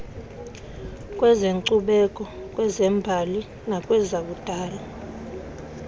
kwezenkcubeko kwezembali nakwezakudala